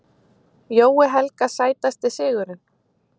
Jói Helga Sætasti sigurinn?